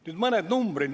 Nüüd mõned numbrid.